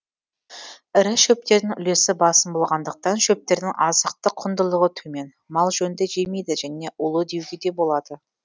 ірі шөптердің үлесі басым болғандықтан шөптердің азықтық құндылығы төмен мал жөнді жемейді және улы деуге де болады